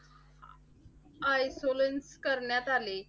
isolance करण्यात आले.